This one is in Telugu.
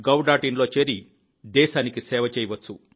in లో చేరి దేశానికి సేవ చేయవచ్చు